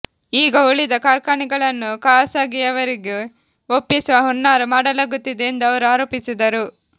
ಈಗ ಉಳಿದ ಕಾರ್ಖಾನೆಗಳನ್ನು ಖಾಸಗಿಯವರಿಗೆ ಒಪ್ಪಿಸುವ ಹುನ್ನಾರ ಮಾಡಲಾಗುತ್ತಿದೆ ಎಂದು ಅವರು ಆರೋಪಿಸಿದರು